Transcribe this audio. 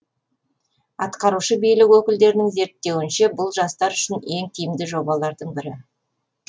атқарушы билік өкілдерінің зерттеуінше бұл жастар үшін ең тиімді жобалардың бірі